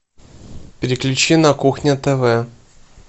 переключи на кухня тв